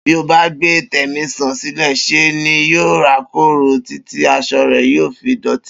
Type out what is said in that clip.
Bí o bá gbé Tèmísàn sílè̩, s̩e ni yóò rákòrò títí as̩o̩ rè̩ yóò fi dò̩tí